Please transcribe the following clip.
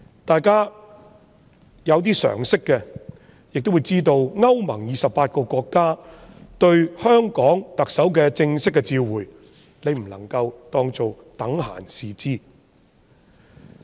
稍有常識的人亦會知道，歐洲聯盟28個國家向香港特首發出正式的外交照會，我們不能等閒視之。